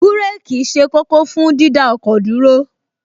Búréèkì ṣe kókó fún dídá ọkọ̀ dúró